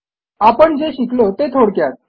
आपण जे शिकलो ते थोडक्यात